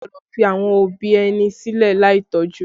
A kò gbọ́dọ̀ fi àwọn òbí ẹni sílẹ̀ láì tọ́jú